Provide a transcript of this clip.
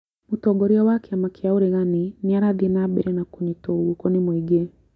Mũtongoria wa kĩama kĩa ũregani nĩ arathiĩ na mbere na kũnyitwo guoko nĩ mũingĩ